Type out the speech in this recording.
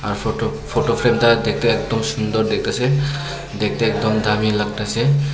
Photo photo ফ্রেমটা দেখতে একদম সুন্দর দেখতাসে দেখতে একদম দামি লাগতাসে।